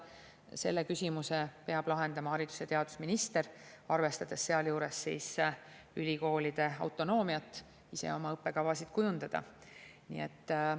Selle küsimuse peab lahendama haridus‑ ja teadusminister, arvestades sealjuures ülikoolide autonoomiat ise oma õppekavasid kujundada.